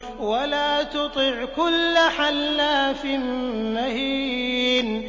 وَلَا تُطِعْ كُلَّ حَلَّافٍ مَّهِينٍ